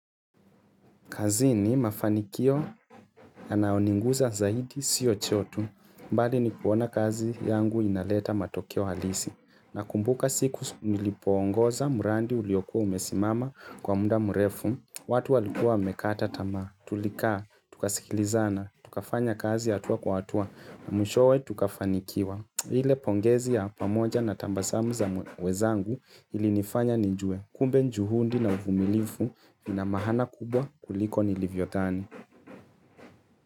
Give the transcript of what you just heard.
Kazi ni mafanikio na naoninguza zaidi siyo chotu, mbali ni kuona kazi yangu inaleta matokeo halisi. Nakumbuka siku nilipongoza, mradi uliokua umesimama kwa muda mrefu, watu walikua wamekata tamaa, tulikaa, tukasikilizana, tukafanya kazi hatua kwa hatua, na mwishowe tukafanikiwa. Ile pongezi ya pamoja na tabasamu za wezangu ili nifanya nijue. Kumbe juhudi na uvumilifu na maana kubwa kuliko nilivyodhani.